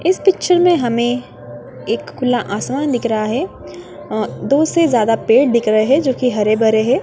इस पिक्चर में हमें एक खुला आसमान दिख रहा है दो से ज्यादा पेड़ दिख रहे हैं जो की हरे-भरे है।